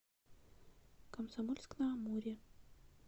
комсомольск на амуре